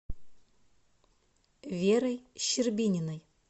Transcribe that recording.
верой щербининой